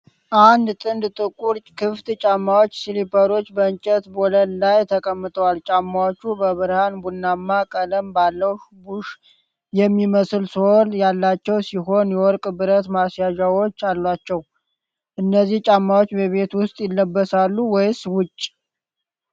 አንድ ጥንድ ጥቁር፣ ክፍት ጫማዎች (ስሊፐሮች) በእንጨት ወለል ላይ ተቀምጠዋል። ጫማዎቹ በብርሃን ቡናማ ቀለም ባለው ቡሽ የሚመስል ሶል ያላቸው ሲሆን፣ የወርቅ ብረት ማስያዣም አላቸው። እነዚህ ጫማዎች በቤት ውስጥ ይለበሳሉ ወይስ ውጪ?